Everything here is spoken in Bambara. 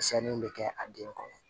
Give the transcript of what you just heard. Misɛnninw bɛ kɛ a den kɔnɔ